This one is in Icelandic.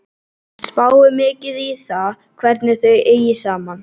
Hann spáir mikið í það hvernig þau eigi saman.